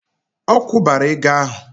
Ọ kwụbara ego ahụ!